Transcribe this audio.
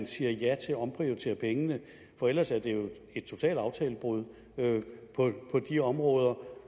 siger ja til at omprioritere pengene for ellers er det jo et totalt aftalebrud på de områder